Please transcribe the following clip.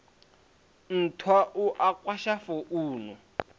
nthwa u a kwasha founu